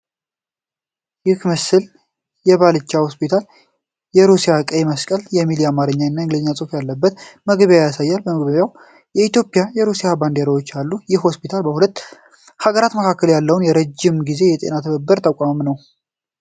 ይህ ምስል የባልቻ ሆስፒታል የሩሲያ ቀይ መስቀል የሚል የአማርኛና የእንግሊዝኛ ጽሑፍ ያለበትን መግቢያ ያሳያል። በመግቢያው ላይ የኢትዮጵያና የሩሲያ ባንዲራዎች አሉ። ይህ ሆስፒታል በሁለቱ ሀገራት መካከል ባለው የረጅም ጊዜ የጤና ትብብር የተቋቋመ ነውን?